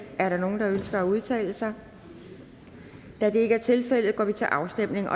er der nogen der ønsker at udtale sig da det ikke er tilfældet går vi til afstemning